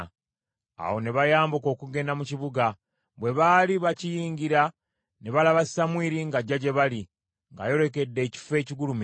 Awo ne bayambuka okugenda mu kibuga. Bwe baali bakiyingira ne balaba Samwiri ng’ajja gye bali, ng’ayolekedde ekifo ekigulumivu.